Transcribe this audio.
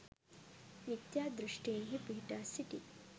මිථ්‍යා දෘෂ්ඨින්හි පිහිටා සිටි